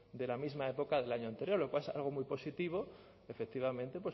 de la misma época del año anterior lo cual es algo muy positivo efectivamente